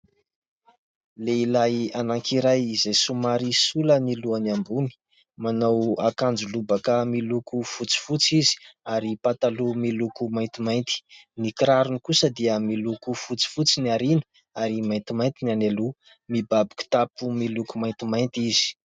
Lehilahy anankiray izay somary sola ny lohany ambony, manao akanjo lobaka miloko fotsifotsy izy ary pataloha miloko maintimainty ; ny kirarony kosa dia miloko fotsifotsy ny aoriana ary maintimainty ny any aloha mibaby kitapo miloko maintimainty izy.